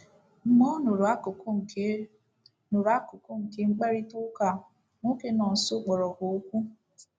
Mgbe ọ nụrụ akụkụ nke nụrụ akụkụ nke mkparịta ụka a, nwoke nọ nso kpọrọ ha okwu.